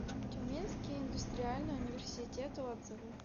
тюменский индустриальный университет отзывы